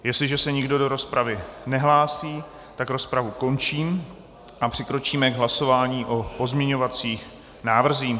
Jestliže se nikdo do rozpravy nehlásí, tak rozpravu končím a přikročíme k hlasování o pozměňovacích návrzích.